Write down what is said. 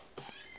ga se go se go